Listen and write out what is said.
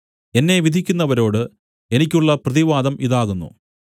എന്നെ വിധിക്കുന്നവരോട് എനിക്കുള്ള പ്രതിവാദം ഇതാകുന്നു